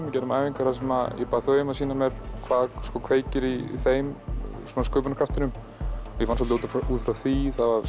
við gerðum æfingar þar sem ég bað þau um að sýna mér hvað kveikir í þeim sköpunarkraftinum og ég vann svolítið út frá því það var